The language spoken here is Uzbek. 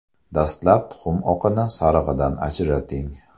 Dastlab tuxum oqini sarig‘idan ajrating.